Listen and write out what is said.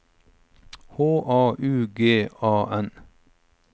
H A U G A N